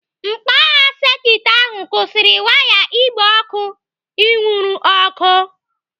Mkpagha sekit ahụ kwụsịrị waya igbe ọkụ inwuru ọkụ.